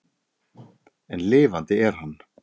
En lifandi er hann.